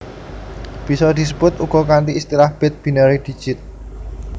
Bisa disebut uga kanthi istilah Bit Binary Digit